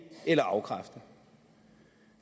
eller afkræfte